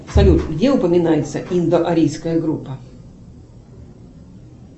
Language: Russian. салют где упоминается индоарийская группа